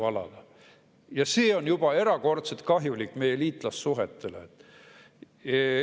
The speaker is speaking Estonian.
Aga see on juba erakordselt kahjulik meie liitlassuhetele.